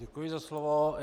Děkuji za slovo.